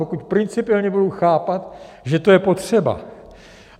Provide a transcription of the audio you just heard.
Pokud principiálně budou chápat, že to je potřeba.